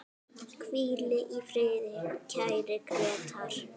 Hvíl í friði, kæri Grétar.